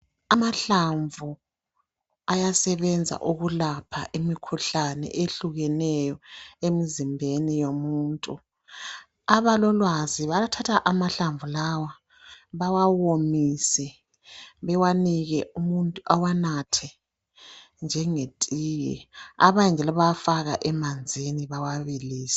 Amahlamvu ayasebenza ukulapha imikhuhlane ehlukeneyo emzimbeni yomuntu ,abalolwazi bayathatha amahlamvu lawa bawawomise bewanike umuntu awanathe njengetiye abanye njalo bayafaka emanzini bawabilise.